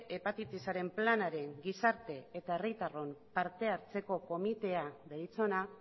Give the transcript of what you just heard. hepatitisaren planaren gizarte eta herritarron parte hartzeko komitea deritzona